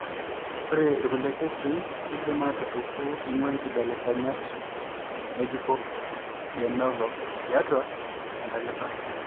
Ore irkulie kesii keidim aatupuku eing'uaa inkibelekenyat ng'ejuko (de novo) tiatua entalipa.